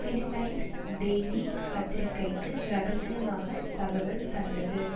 Philippines daily பத்திரிகைக்கு இரகசியமாகத் தகவல் தந்தது